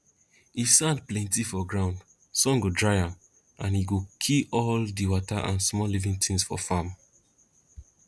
if sand plenti for ground sun go dry am and and e go kill all di wata and small living tins for farm